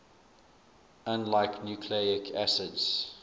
unlike nucleic acids